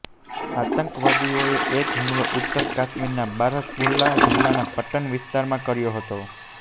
આતંકવાદીઓએ એક હુમલો ઉત્તર કાશ્મીરના બારામુલ્લા જિલ્લાના પટ્ટન વિસ્તારમાં કર્યો હતો